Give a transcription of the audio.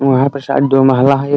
वहाँ पे शायद दो महिला है एक --